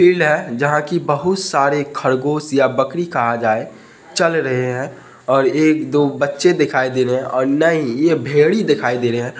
Field है जहां की बहुत सारी खरगोश या बकरी कहा जाये चल रहे है और एक दो बच्चे दिखाई दे रहे है और नहीं ये भेड़ी दिखाई दे रहे है।